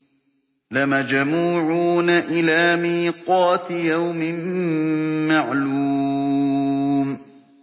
لَمَجْمُوعُونَ إِلَىٰ مِيقَاتِ يَوْمٍ مَّعْلُومٍ